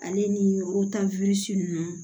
Ale ni nunnu